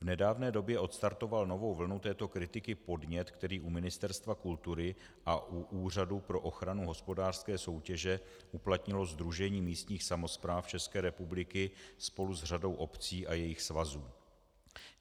V nedávné době odstartoval novou vlnu této kritiky podnět, který u Ministerstva kultury a u Úřadu pro ochranu hospodářské soutěže uplatnilo Sdružení místních samospráv České republiky spolu s řadou obcí a jejich svazů.